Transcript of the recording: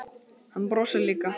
Hann brosir líka.